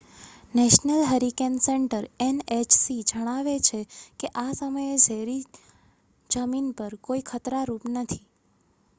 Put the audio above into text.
national hurricane centre nhc જણાવે છે કે આ સમયે જેરી જમીન પર કોઈ ખતરારૂપ નથી